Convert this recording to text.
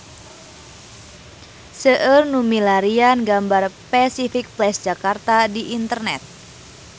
Seueur nu milarian gambar Pasific Place Jakarta di internet